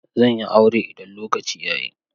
Zan yi aure idan lokaci ya yi.